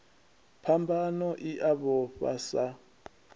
phambano i a vhofha sa